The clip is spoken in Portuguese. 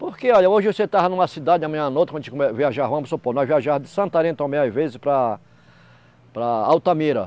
Porque, olha, hoje você estava numa cidade, amanhã em outra, quando a gente viajava, vamos supor, nós viajávamos de Santarém também, às vezes, para para Altamira.